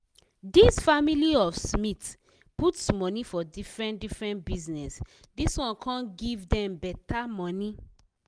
di family of smith put money for different different bizness dis one come give dem better money